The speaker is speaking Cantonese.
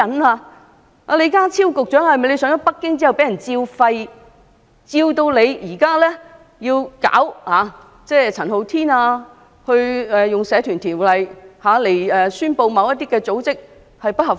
李家超局長上京時是否受到訓斥，以致要整治陳浩天，以《社團條例》宣布其組織不合法？